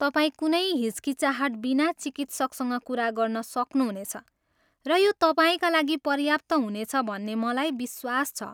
तपाईँ कुनै हिचकिचाहट बिना चिकित्सकसँग कुरा गर्न सक्नुहुनेछ र यो तपाईँका लागि पर्याप्त हुनेछ भन्ने मलाई विश्वास छ।